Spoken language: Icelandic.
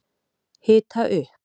Hita upp